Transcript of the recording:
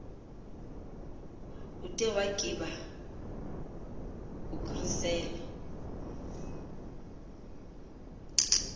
ude waggiba ugrissel